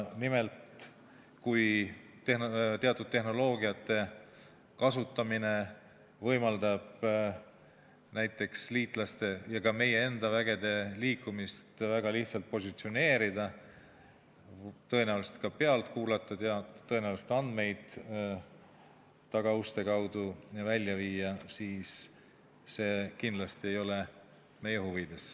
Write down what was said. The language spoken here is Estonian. Nimelt, kui teatud tehnoloogiate kasutamine võimaldab näiteks meie liitlaste ja ka meie enda vägede liikumist väga lihtsalt positsioneerida, tõenäoliselt ka pealt kuulata, andmeid tagauste kaudu välja viia, siis see kindlasti ei ole meie huvides.